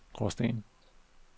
Gråsten